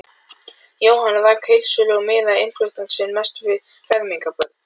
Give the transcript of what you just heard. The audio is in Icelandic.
Jóhann rak heildsölu og miðaði innflutning sinn mest við fermingarbörn.